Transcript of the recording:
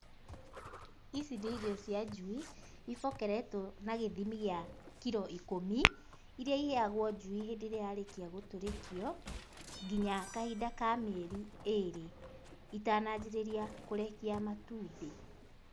Ici nĩ irio cia njui, ibokeretwo na gĩthimi gĩa kiro ikũmi, irĩa iheagwo njui hĩndĩ ĩrĩa yarĩkia gũtũrĩkio nginya kahinda ka mĩeri ĩrĩ, itananjĩrĩria kũrekia matumbĩ.